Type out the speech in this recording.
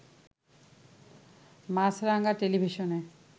মাছরাঙা টেলিভিশনে